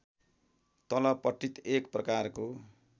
तलपट्टि एक प्रकारको